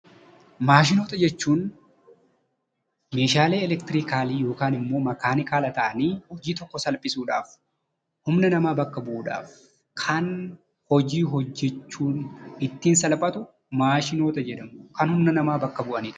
Maashinoota jechuun meeshaalee eleektiroonikaalii yookaan immoo makaanikaala ta'anii honii tokko salphisuudhaaf, humna namaa bakka bu'uudhaaf, kan hojii ittiin hojjechuun namaaf salphatu maashinoota jedhamu. Kan humna namaa bakka bu'anidha.